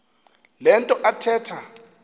le nto athetha